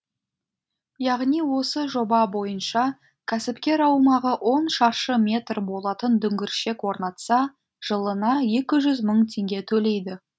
яғни осы жоба бойынша кәсіпкер аумағы он шаршы метр болатын дүңгіршек орнатса жылына екі жүз мың теңге төлейді